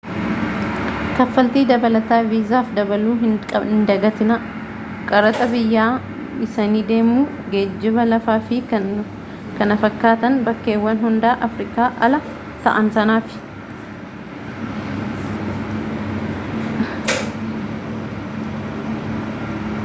kaffaltii dabalataa viizaaf dabaluu hin dagatinaa qaraxa biyya-dhiisanii deemuu geejjiiba lafaa fi kan kana fakkaatan bakkeewwan hundaa afrikaa ala ta'aan sanaaf